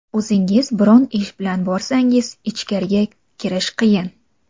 O‘zingiz biror ish bilan borsangiz, ichkariga kirish qiyin.